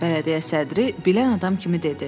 Bələdiyyə sədri bilən adam kimi dedi.